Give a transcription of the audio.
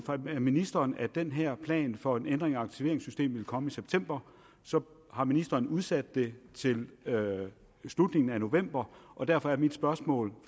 af ministeren at den her plan for en ændring af aktiveringssystemet ville komme i september så har ministeren udsat det til slutningen af november og derfor er mit spørgsmål